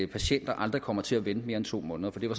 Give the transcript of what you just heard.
patienter aldrig kommer til at vente mere end to måneder det var